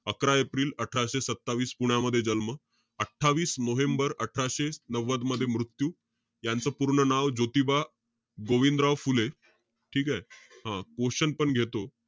अकरा एप्रिल अठराशे सत्तावीस, पुण्यामध्ये जन्म. अठ्ठावीस नोव्हेंबर अठराशे नव्वद मध्ये मृत्यू. यांचं पूर्ण नाव ज्योतिबा गोविंदराव फुले. ठीकेय? हं. Question पण घेतो.